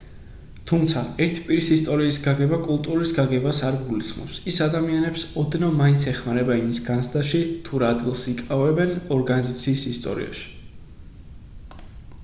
თუმცა ერთი პირის ისტორიის გაგება კულტურის გაგებას არ გულისხმობს ის ადამიანებს ოდნავ მაინც ეხმარება იმის განცდაში თუ რა ადგილს იკავებენ ორგანიზაციის ისტორიაში